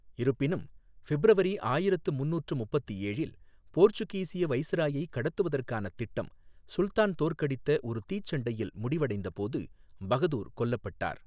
இருப்பினும், ஃபிப்ரவரி ஆயிரத்து ஐநூற்று முப்பத்து ஏழில், போர்ச்சுகீசிய வைஸ்ராயைக் கடத்துவதற்கான திட்டம் சுல்தான் தோற்கடித்த ஒரு தீ சண்டையில் முடிவடைந்தபோது பகதூர் கொல்லப்பட்டார்.